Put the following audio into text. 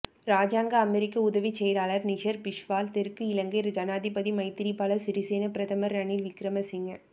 இராஜாங்க அமெரிக்க உதவிச் செயலாளர் நிஷர் பிஸ்வால் தெற்கு இலங்கை ஜனாதிபதி மைத்திரிபால சிறிசேன பிரதமர் ரணில் விக்கிரமசிங்க